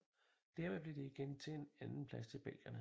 Dermed blev det igen til en andenplads til belgierne